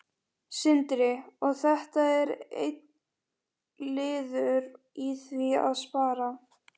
Sindri: Og þetta er einn liður í því að spara?